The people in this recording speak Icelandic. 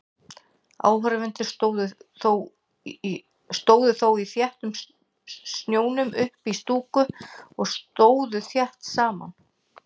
Áhorfendur stóðu þó í þéttum snjónum uppí stúku og stóðu þétt saman.